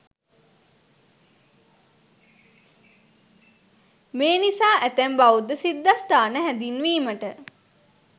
මේ නිසා ඇතැම් බෞද්ධ සිද්ධස්ථාන හැඳින්වීමට